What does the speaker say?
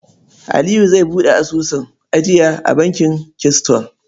Aliyu zai buɗe asusun ajiya a bankin Keystone.